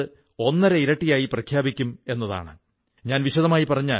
കുട്ടികൾ പുസ്തകം വായിക്കുന്നതിലേർപ്പെടുന്നു എന്നതിൽ അടുത്തൊക്കെയുള്ള രക്ഷിതാക്കൾ വളരെ സന്തുഷ്ടരാണ്